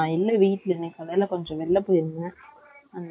வெயில் இல்லமால் ஆகுது, நான் அப்போதுவே குளிச்சி நல்ல வெயில்.